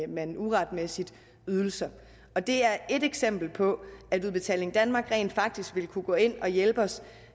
man uretmæssigt ydelser det er et eksempel på at udbetaling danmark rent faktisk vil kunne gå ind og hjælpe os